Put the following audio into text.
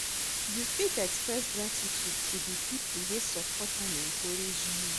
You fit express gratitude to de people wey support and encourage you.